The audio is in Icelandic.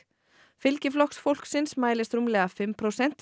fylgi Flokks fólksins mælist rúmlega fimm prósent